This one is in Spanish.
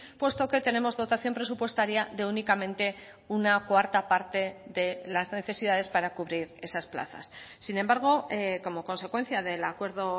puesto que tenemos dotación presupuestaria de únicamente una cuarta parte de las necesidades para cubrir esas plazas sin embargo como consecuencia del acuerdo